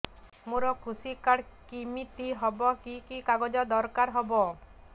ମୋର କୃଷି କାର୍ଡ କିମିତି ହବ କି କି କାଗଜ ଦରକାର ହବ